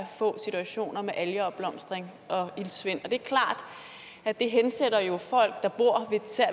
få situationer med algeopblomstring og iltsvind det er klart at det hensætter folk der bor